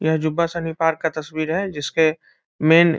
यह जुब्बा सहनी पार्क का तस्वीर है जिसके मेन --